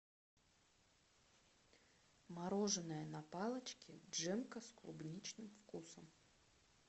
мороженое на палочке джемка с клубничным вкусом